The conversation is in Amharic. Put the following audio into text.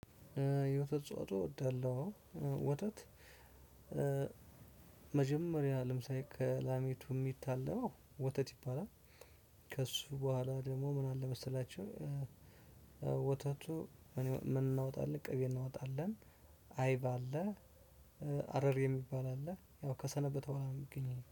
የወተት አስተወፅኦ እወዳለሁ። ወተት። መጀመሪያ ልምሳሌ ከላሚቱ ሚታለበው ወተት ይባላል። ከእሱ በኋላ ደግሞ ምን አለ መሰላችሁ? ወተቱ እኔ ምን እናወጣለን ቅቤ እናወጣለን። አይብ አለ። አረር የሚባል አለ ያው ከሰነበተ ቡሃለ አሁን የሚገኘው